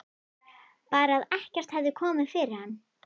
Bara að ekkert hefði komið fyrir hann.